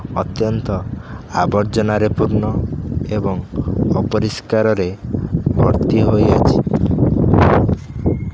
ଅତ୍ୟନ୍ତ ଆବର୍ଜନରେ ପୂର୍ଣ୍ଣ ଏବଂ ଅପରିସ୍କାରରେ ଭର୍ତ୍ତି ହୋଇଅଛି।